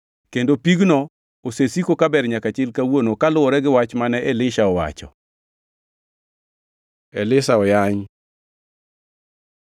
Kendo pigno osesiko ka ber nyaka chil kawuono kaluwore gi wach mane Elisha owacho. Elisha oyany